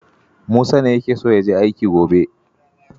Musa ne yake son ya je aiki gobe.